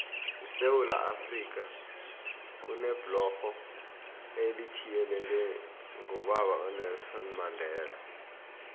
esewula afrika kunebhlorho elithiyelelwe ngobaba unelson mandela